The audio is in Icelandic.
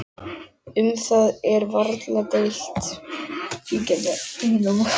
Um það er varla deilt.